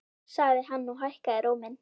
sagði hann og hækkaði róminn.